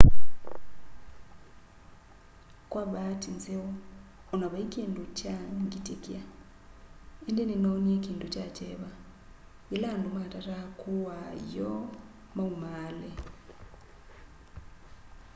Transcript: kwa vaati nzeo o na vai kindu kyaa ngitikia indi ninoonie kindu kya kyeva yila andu matataa kuaa ioo maumaale